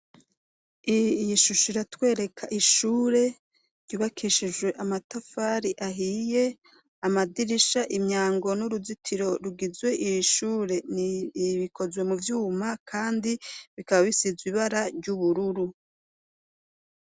Iyi shusho iratwereka ishure ryubakishijwe amatafari ahiye, amadirisha, imyango n'uruzitiro rugize iri shure, bikozwe mu vyuma kandi bikaba bisizwe ibara ry'ubururu.